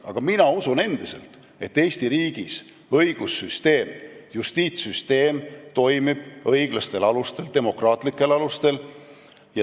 Aga mina usun endiselt, et Eesti riigis õigussüsteem, justiitssüsteem toimib õiglastel, demokraatlikel alustel.